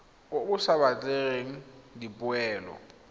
o o sa batleng dipoelo